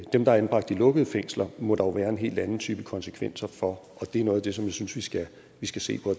dem der er anbragt i lukkede fængsler må der jo være en helt anden type af konsekvenser for og det er noget af det som jeg synes vi skal vi skal se på